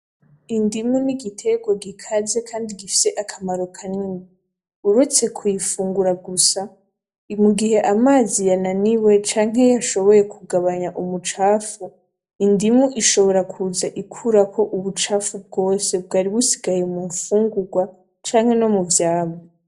Indimu n'igiterwa gikaze Kandi gifise akamaro kanini ,uretse kuyifungura gusa, mugihe amazi yananiwe canke yashoboye kugabanya umucafu ,indimu ishobora kuza ikurako ubucafu bwose bwari busigaye mu fungurwa canke nomu vyamwa.